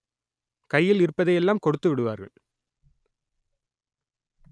கையில் இருப்பதையெல்லாம் கொடுத்து விடுவார்கள்